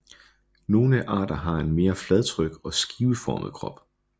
Nogle arter har en mere fladtryk og skiveformet krop